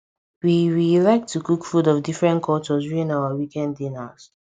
we we like to cook food of different cultures during our weekend dinners